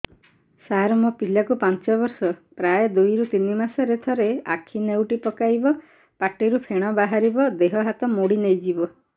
ସାର ମୋ ପିଲା କୁ ପାଞ୍ଚ ବର୍ଷ ପ୍ରାୟ ଦୁଇରୁ ତିନି ମାସ ରେ ଥରେ ଆଖି ନେଉଟି ପକାଇବ ପାଟିରୁ ଫେଣ ବାହାରିବ ଦେହ ହାତ ମୋଡି ନେଇଯିବ